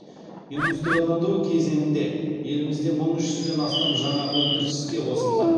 индустрияландыру кезеңінде елімізде мың үш жүзден астам жаңа өндіріс іске қосылды